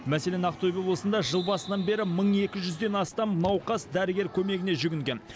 мәселен ақтөбе облысында жыл басынан бері мың екі жүзден астам науқас дәрігер көмегіне жүгінген